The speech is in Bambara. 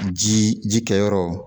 Ji jikɛyɔrɔ